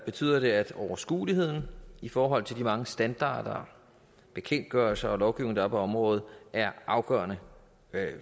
betyder det at overskueligheden i forhold til de mange standarder bekendtgørelser og lovgivninger der er på området er afgørende